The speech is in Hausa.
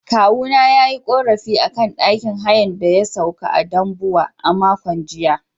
Kawuna ya yi ƙorafi a akan ɗakin hayan da ya sauka a Dambuwa a makon jiya.